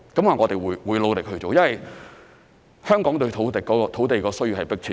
我們會努力去做，因為香港對土地的需要是迫切的。